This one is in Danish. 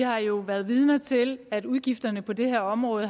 har jo været vidner til at udgifterne på det her område